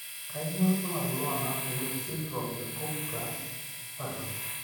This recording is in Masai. Kainyio irbulabul onaapuku esindirom eGupta Patton?